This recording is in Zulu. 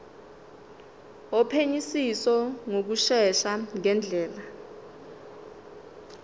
wophenyisiso ngokushesha ngendlela